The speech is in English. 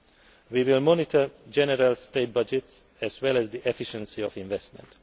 now. We will monitor general state budgets as well as the efficiency of investment.